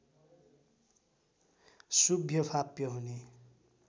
शुभ्यफाप्य हुने